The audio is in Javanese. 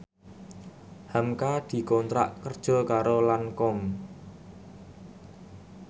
hamka dikontrak kerja karo Lancome